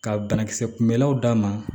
Ka banakisɛ kunbɛlaw d'a ma